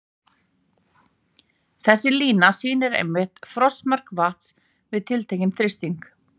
Þessi lína sýnir einmitt frostmark vatns við tiltekinn þrýsting.